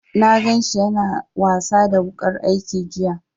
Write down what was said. Na gan shi ya na wasa da wuƙar aiki jiya